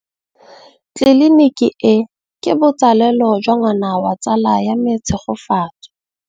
Tleliniki e, ke botsalêlô jwa ngwana wa tsala ya me Tshegofatso.